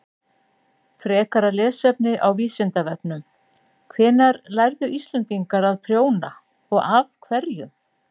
Frekara lesefni á Vísindavefnum: Hvenær lærðu Íslendingar að prjóna og af hverjum?